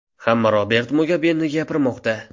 Hamma Robert Mugabeni gapirmoqda.